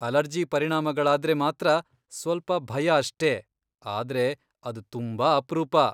Allergy ಪರಿಣಾಮಗಳಾದ್ರೆ ಮಾತ್ರ ಸ್ವಲ್ಪ ಭಯ ಅಷ್ಟೇ, ಆದ್ರೆ ಅದ್ ತುಂಬಾ ಅಪ್ರೂಪ.